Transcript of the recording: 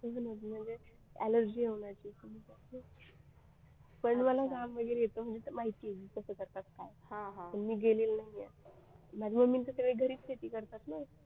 म्हणजे allergy होण्याचे पण मला काम वगैरे येत म्हणजे माहिती आहे कसं करतात काय मी गेलेले नाही आहे सगळे घरीच शेती करतात ना